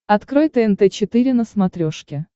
открой тнт четыре на смотрешке